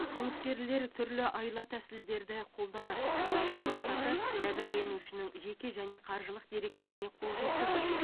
қылмыскерлер түрлі айла тәсілдерді қолданады олардың мақсаты жәбірленушінің жеке және қаржылық деректеріне қол жеткізу